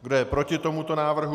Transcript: Kdo je proti tomuto návrhu?